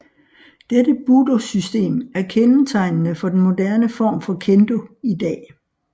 Dette budosystem er kendetegnende for den moderne form for Kendo i dag